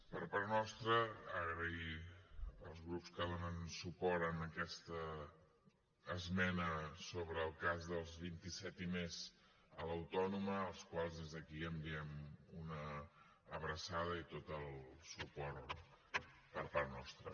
per part nostra donar les gràcies als grups que donen suport a aquesta esmena sobre el cas dels vint set i més a la universitat autònoma als quals des d’aquí enviem una abraçada i tot el suport per part nostra